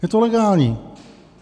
Je to legální.